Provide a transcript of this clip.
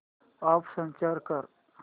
app search कर